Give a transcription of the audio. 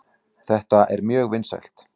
Þetta er mjög vinsælt.